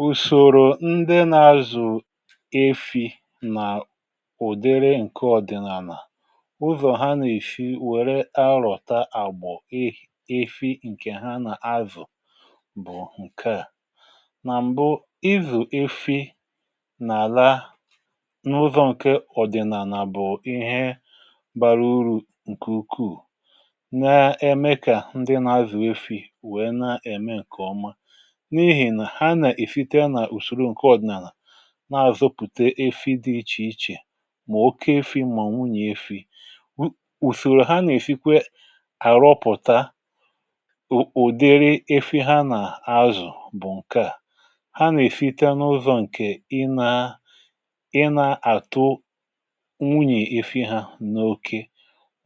um Ùsòrò ndị na-azụ̀ efi̇ nà ụ̀dịrị ǹkè ọ̀dị̀nàlà, ụzọ̀ ha nà-èshi wèrè àrọ̀ta àgbọ̀ efi̇ ǹkè ha nà-azụ̀, bụ̀ ǹkè à nà m̀bụ̀ ịzụ̀ efi̇ n’àla n’ụzọ̇ ǹkè ọ̀dị̀nàlà. Bụ̀ ihe gbara urù ǹkè ukwuù, nà-eme kà ndị na-azụ̀ efi̇ wèe na-ème ǹkè ọma, n’àzọpụ̀ta efi̇ dị̇ iche iche mà oke efi̇, mà nwunyè efi̇... Ùsùrù ha nà-èfikwa àrọpụ̀ta ụ̀dịrị efi̇ ha nà-azụ̀, bụ̀ ǹkè à ha nà-èfita n’ụzọ̇ ǹkè ị nà um ị nà-àtụ nwunyè efi̇ hȧ n’okė,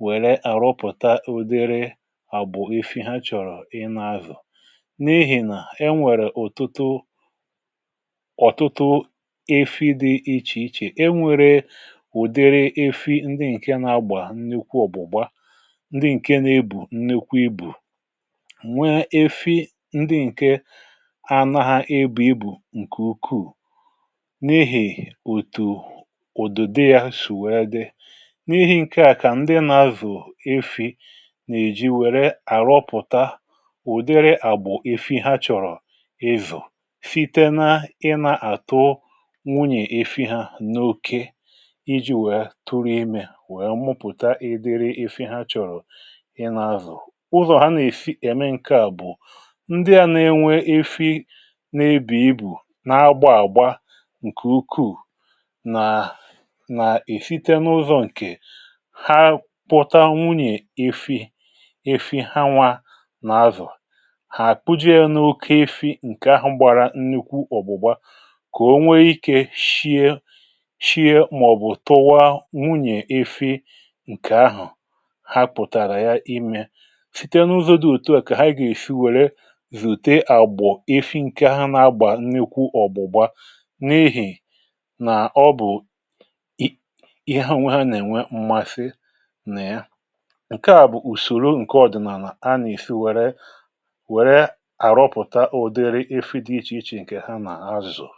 wèrè àrọpụ̀ta ụ̀dịrị àbụ̀ efi̇ ha chọ̀rọ̀ ị nà-azụ̀... N’ihì nà e nwèrè ụ̀tụtụ ọ̀tụtụ efi̇ dị̇ iche iche, e nwèrè ụ̀dịrị efi̇ ndị ǹkè nà-agbà nnyekwa ọ̀bụ̀gbà, ndị ǹkè nà-ebù nnyekwa ibù, nwee efi̇ ndị ǹkè ha nà-ebù ibù ǹkè ukwuù, n’ihì ùtù ùdùndè um yȧ sù wèe dị. N’ihì ǹkè à, kà ndị na-azụ̀ efi̇ nà-èji wèrè àrọpụ̀ta ụ̀dịrị àgbụ̀ efi̇ ha chọ̀rọ̀, ezù fita nà ị nà-àtọ nwunyè efi̇ hȧ n’okė iji̇ wèe tụrụ imė, wèe mụpụ̀ta ịdị̇rị efi̇ hȧ chọ̀rọ̀ ị nà-azụ̀. um Ụzọ̀ ha nà-èfi̇ ème ǹkè à, bụ̀ ndị à nà-enwe efi̇ nà-ebì ibù nà agbȧ àgba ǹkè ukwuù.. nà-à nà-èfita n’ụzọ̇ ǹkè ha pụ̀ta nwunyè efi̇, efi̇ ha nwȧ nà azụ̀. um Kà o nwee ikė shie shie, mà ọ̀ bụ̀ tụwa nwunyè efi̇ ǹkè ahụ̀, hapụ̀tàrà ya imė site n’ụzọ̇ dị òtù à, kà ha yȧ èsi wèrè zùète àgbọ̀ efi̇ ǹkè ha nà-agbà nnekwu ọ̀bụ̀gbȧ n’ehì... um Ọ bụ̀ ihe ha nà-ènwe mmasị nà ya. Ǹkè à bụ̀ ùsòrò ǹkè ọ̀dị̀nàlà a nà-èsi wèrè àrọpụ̀ta ụ̀dịrị ǹkè ha nà-azụ̀zụ̀.